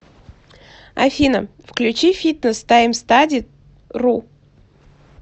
афина включи фитнес таймстади ру